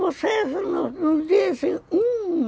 Vocês não não dizem um...